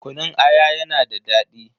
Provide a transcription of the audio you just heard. Kunun aya yana da daɗi.